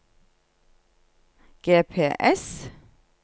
GPS